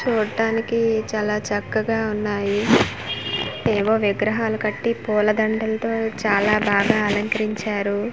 చూడటానికి చాలా చక్కగా ఉన్నాయి ఏవో విగ్రహాలు కట్టి పూలదండలతో చాలా బాగా అలంకరించారు.